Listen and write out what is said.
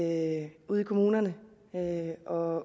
at ude i kommunerne og